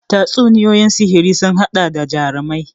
Tatsuniyoyin sihiri sun haɗa da jarumai